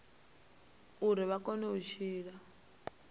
uri vha kone u tshila